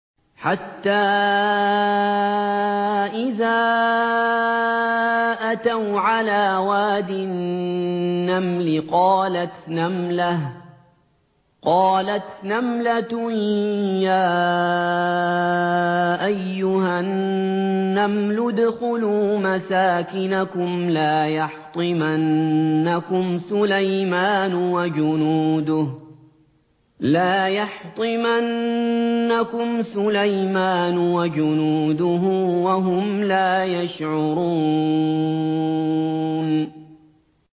حَتَّىٰ إِذَا أَتَوْا عَلَىٰ وَادِ النَّمْلِ قَالَتْ نَمْلَةٌ يَا أَيُّهَا النَّمْلُ ادْخُلُوا مَسَاكِنَكُمْ لَا يَحْطِمَنَّكُمْ سُلَيْمَانُ وَجُنُودُهُ وَهُمْ لَا يَشْعُرُونَ